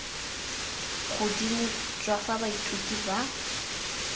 godimo jwa fa baithuti ba